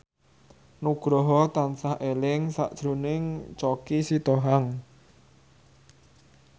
Nugroho tansah eling sakjroning Choky Sitohang